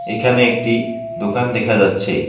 এখানে একটি দোকান দেখা যাচ্ছে।